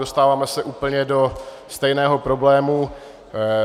Dostáváme se do úplně stejného problému.